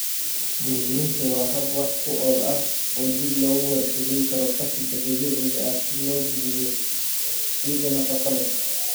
Burburinta waa hab wax ku ool ah oo dib loogu warshadayn karo qashinka dabiiciga ah si loo geliyo ciidda nafaqo leh.